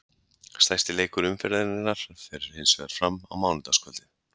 Stærsti leikur umferðarinnar fer hinsvegar fram á mánudagskvöldið.